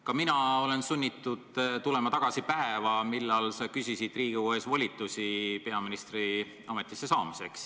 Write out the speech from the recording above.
Ka mina olen sunnitud tulema tagasi päeva, kui sa küsisid Riigikogu ees volitusi peaministri ametisse astumiseks.